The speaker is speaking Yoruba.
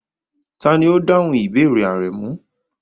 Tani o dahun ibeere Aremu?